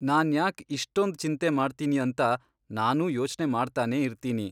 ನಾನ್ಯಾಕ್ ಇಷ್ಟೊಂದ್ ಚಿಂತೆ ಮಾಡ್ತೀನಿ ಅಂತ ನಾನೂ ಯೋಚ್ನೆ ಮಾಡ್ತಾನೆ ಇರ್ತೀನಿ.